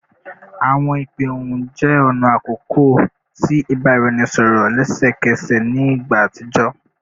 Awọn ipe ohun jẹ ọna akọkọ ti ibaraẹnisọrọ lẹsẹkẹsẹ ni igba atijọ